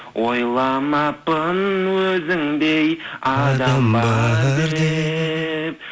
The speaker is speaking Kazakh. ойламаппын өзіңдей адам бар деп